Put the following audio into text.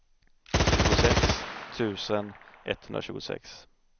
tjugosex tusen etthundratjugosex